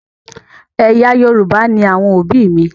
Ẹ̀yà Yorùbá ni àwọn òbí mi.